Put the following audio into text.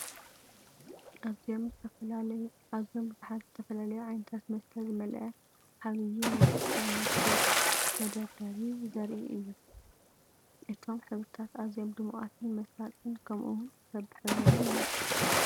ኣዝዮም ብዙሓት ዝተፈላለዩ ዓይነታት መስተ ዝመልአ ዓቢይ ናይ ሱፐርማርኬት መደርደሪ ዘርኢ እዩ! እቶም ሕብርታት ኣዝዮም ድሙቓትን መሳጥትን ከምኡ ውን በቢሕብሮን እዮም!